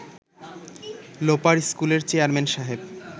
লোপার স্কুলের চেয়ারম্যান সাহেব